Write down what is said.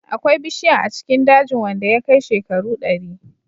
Akwai ɓushiyan a cikin dajin wanda ya kai shekaru dari.